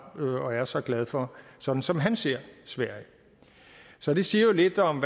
og er så glad for sådan som han ser sverige så det siger jo lidt om